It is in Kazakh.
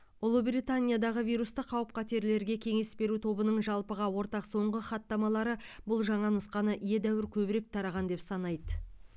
ұлыбританиядағы вирусты қауіп қатерлерге кеңес беру тобының жалпыға ортақ соңғы хаттамалары бұл жаңа нұсқаны едәуір көбірек тараған деп санайды